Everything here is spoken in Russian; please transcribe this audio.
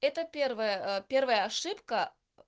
это первая первая ошибка